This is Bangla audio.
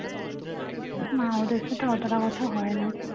না ওদের সাথে অতটা কথা হয় না